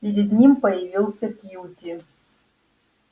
перед ним появился кьюти